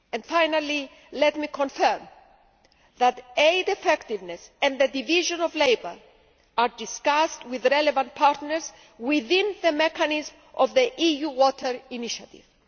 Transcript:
Finally, let me confirm that aid effectiveness and the division of labour are discussed with relevant partners within the mechanisms of the EU Water Initiative.